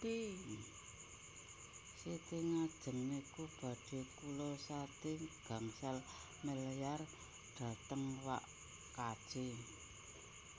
Siti ngajeng niku badhe kula sade gangsal miliar dhateng wak kaji